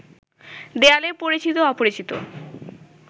দেয়ালে পরিচিত-অপরিচিত